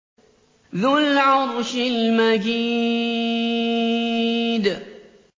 ذُو الْعَرْشِ الْمَجِيدُ